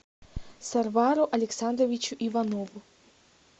сарвару александровичу иванову